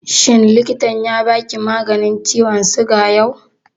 Shin likitan ya ba ki maganin ciwon suga yau?